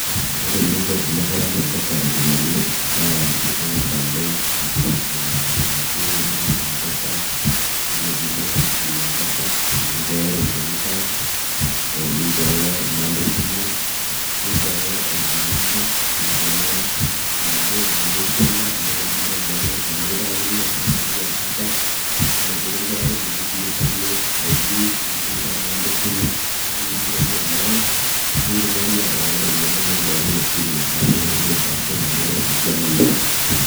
ore eninko tenirriwaki mpesa iropiyiani naa ing'as alo eh, oladuo duka le mpesa yiolo piilo olduka le mpesa ninchooyo iropiyiani cash eh ninchooyo inamba esimu ninchooyo ID number ninchooyo inaduo ropiyiani esiana ajo kebaa iropiyiani naifaa nikipikakini ashu nepiki mpesa yiolo piikinchori nikinkilikuani ID nikinkilikuani inamba esimu nikinkilikuani amount nikitumokini atipikaki iropiyiani inonok pookin esimu naaduo nitejo ashu naduo siana niyieu.